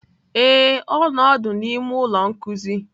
Ee, ọ nọ ọdụ n'ime ụlọ nkuzi